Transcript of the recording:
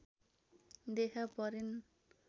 देखा परिन्